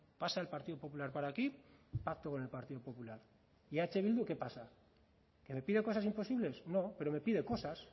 pasa el partido popular por aquí pacto con el partido popular y eh bildu qué pasa qué le pido cosas imposibles no pero me pide cosas